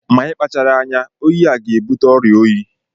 Ma Ị kpachara anya, oyi a ga-ebute ọrịa oyi.